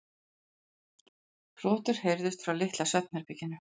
Hrotur heyrðust frá litla svefnherberginu.